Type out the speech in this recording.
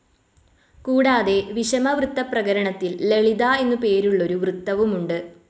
കൂടാതെ വിഷമവൃത്തപ്രകരണത്തിൽ ലളിത എന്നുപേരുള്ളൊരു വൃത്തവുമുണ്ട്.